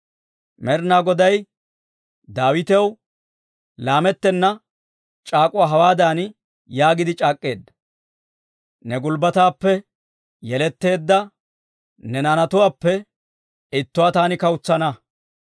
Med'inaa Goday Daawitaw laamettena c'aak'uwaa hawaadan yaagiide c'aak'k'eedda; «Ne gulbbataappe yeletteedda ne naanatuwaappe ittuwaa taani kawutsana.